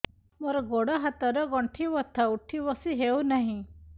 ମୋର ଗୋଡ଼ ହାତ ର ଗଣ୍ଠି ବଥା ଉଠି ବସି ହେଉନାହିଁ